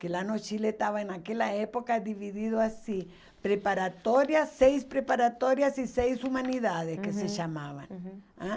que lá no Chile estava naquela época dividido assim, preparatórias, seis preparatórias e seis humanidades, uhum, que se chamavam. Uhum. Ãh